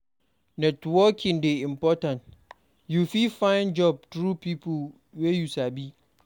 Networking dey important; you fit find job through pipo wey you sabi.